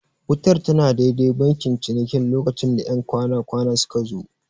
Wutar tana dai-dai bankin cinikin lokacin da 'yan kwana-kwanan suka zo.